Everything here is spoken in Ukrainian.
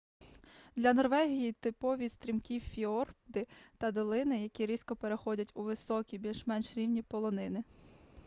для норвегії типові стрімкі фіорди та долини які різко переходять у високі більш-менш рівні полонини